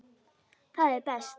Það er best.